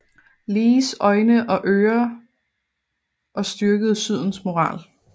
Lees øjne og ører og styrkede Sydens moral